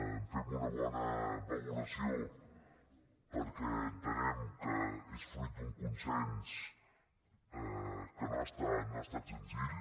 en fem una bona valoració perquè entenem que és fruit d’un consens que no ha estat senzill